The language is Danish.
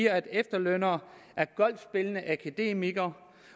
at efterlønnere er golfspillende akademikere